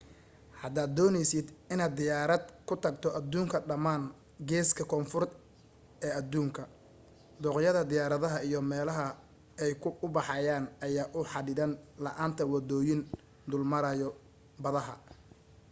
hadaad dooneysid inaad diyaarad ku tagto aduunka dhamaan geeska koonfuureed ee aduunka dooqyada diyaaradaha iyo meelaha ay u baxayaan ayaa u xadidan la'aanta wadooyin dul maraayo badaha